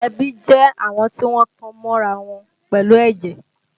Ẹbí jẹ́ àwọn tí wọ́n tan mọ́ra wọn pẹ̀lú ẹ̀jẹ̀